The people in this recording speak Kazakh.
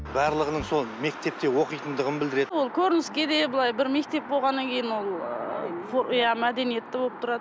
барлығының сол мектепте оқитындығын білдіреді ол көрініске де былай бір мектеп болғаннан кейін ол ыыы иә мәдениетті болып тұрады